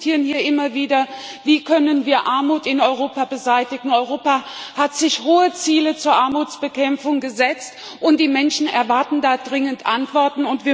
Wir diskutieren hier immer wieder, wie wir Armut in Europa beseitigen können. Europa hat sich hohe Ziele zur Armutsbekämpfung gesetzt, und die Menschen erwarten da dringend Antworten.